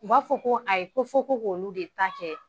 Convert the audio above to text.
U b'a fɔ ko a ye, ko fɔ ko' olu de taa kɛ.